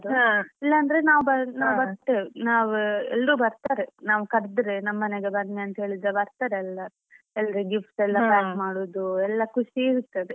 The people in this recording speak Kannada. ಇಲ್ಲ ಅಂದ್ರೆ ನಾವ್ ಬರ್~ ನಾವ್ ಬರ್ತೇವೆ ನಾವ್ ಎಲ್ರು ಬರ್ತಾರೆ ನಾವ್ ಕರ್ದ್ರೆ ನಮ್ಮನೆಗೆ ಬನ್ನಿ ಅಂತೇಳಿದ್ರೆ ಬರ್ತಾರೆ ಎಲ್ಲರು ಎಲ್ರು gifts ಎಲ್ಲ pack ಮಾಡೋದು ಎಲ್ಲ ಖುಷಿ ಇರ್ತದೆ.